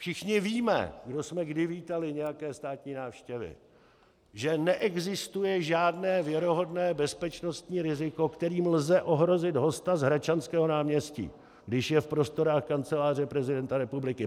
Všichni víme, kdo jsme kdy vítali nějaké státní návštěvy, že neexistuje žádné věrohodné bezpečnostní riziko, kterým lze ohrozit hosta z Hradčanského náměstí, když je v prostorách Kanceláře prezidenta republiky.